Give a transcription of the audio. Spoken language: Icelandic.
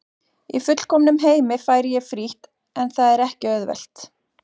Í fullkomnum heimi færi ég frítt en það er ekki auðvelt.